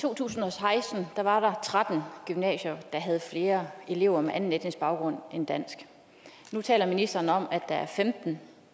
to tusind og seksten var der tretten gymnasier der havde flere elever med anden etnisk baggrund end dansk nu taler ministeren om at der er femtende